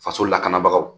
Faso lakanabagaw